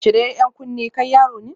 Cire 'yan kunne, kai yaro ne